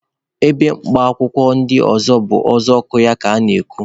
Ebe mkpa akwụkwọ ndị ọzọ bụ uzuọkụ ya ka ana-eku.